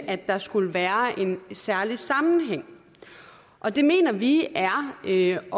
at der skulle være en særlig sammenhæng og det mener vi er at øge